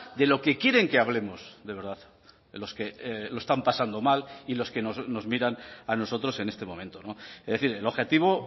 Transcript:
de lo que quieren que hablemos de verdad los que lo están pasando mal y los que nos miran a nosotros en este momento es decir el objetivo